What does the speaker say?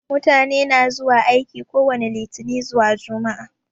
Mutane na zuwa aiki kowani litinin zuwa jumaa